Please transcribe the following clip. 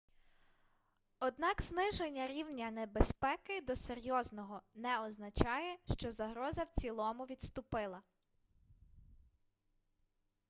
однак зниження рівня небезпеки до серйозного не означає що загроза в цілому відступила